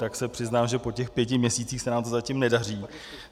Tak se přiznám, že po těch pěti měsících se nám to zatím nedaří.